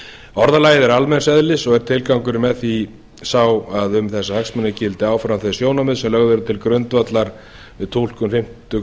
orðalagið er almenns eðlis og er tilgangurinn með því sá að um þessa hagsmuni gildi áfram þau sjónarmið sem lögð eru til grundvallar túlkun fimmtu